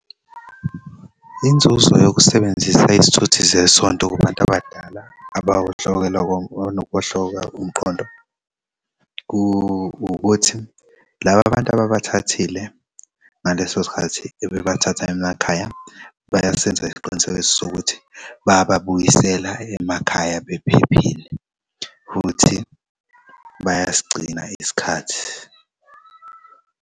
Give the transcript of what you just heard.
Inzuzo yokusebenzisa izithuthi zesonto kubantu abadala abanokuwohloka umqondo kuwukuthi laba bantu ababathathile ngaleso sikhathi ebebathatha emakhaya bayasenza isiqinisekiso sokuthi bayababuyisela emakhaya bephephile futhi bayasigcina isikhathi.